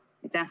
Aitäh!